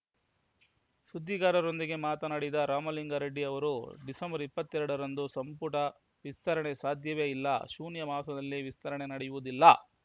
ಸುದ್ದಿಗಾರರೊಂದಿಗೆ ಮಾತನಾಡಿದ ರಾಮಲಿಂಗಾರೆಡ್ಡಿ ಅವರು ಡಿಸೆಂಬರ್ ಇಪ್ಪತ್ತೆರಡರಂದು ಸಂಪುಟ ವಿಸ್ತರಣೆ ಸಾಧ್ಯವೇ ಇಲ್ಲ ಶೂನ್ಯ ಮಾಸದಲ್ಲಿ ವಿಸ್ತರಣೆ ನಡೆಯುವುದಿಲ್ಲ